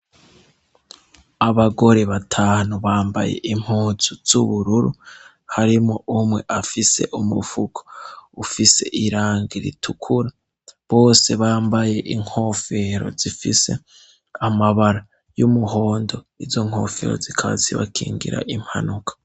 Abagore batanu bambaye impuzu z'ubururu harimwo umwe afise umufuko ufise irangi ritukura, bose bambaye inkofero zifise amabara y'umuhondo izo nkofero zikaba zibakingira impanuka.